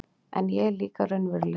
En ég er líka raunveruleg